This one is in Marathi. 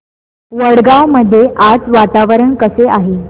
वडगाव मध्ये आज वातावरण कसे आहे